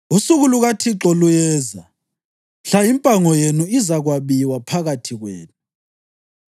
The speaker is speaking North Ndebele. Usuku lukaThixo luyeza mhla impango yenu izakwabiwa phakathi kwenu.